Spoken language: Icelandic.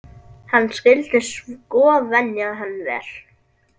Hann skyldi sko venja hann vel.